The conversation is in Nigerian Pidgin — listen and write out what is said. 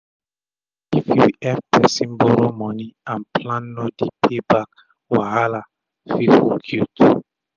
if u epp persin borrow moni and plan no dey to pay back wahala um fit hook u too